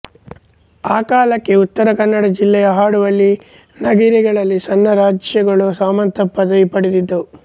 ಆಕಾಲಕ್ಕೆ ಉತ್ತರ ಕನ್ನಡ ಜಿಲ್ಲೆಯ ಹಾಡುವಳ್ಳಿ ನಗಿರೆಗಳಲ್ಲಿ ಸಣ್ಣ ರಾಜ್ಯಗಳು ಸಾಮಂತ ಪದವಿ ಪಡೆದಿದ್ದವು